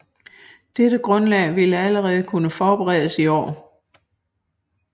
Dette Grundlag vilde allerede kunne forberedes i Aar